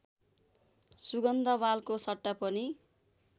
सुगन्धवालको सट्टा पनि